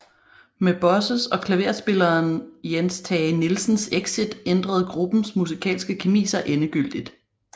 Med Bosses og klaverspilleren Jens Tage Nielsens exit ændrede gruppens musikalske kemi sig endegyldigt